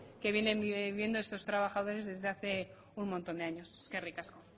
que vienen viendo estos trabajadores desde hace un montón de años eskerrik asko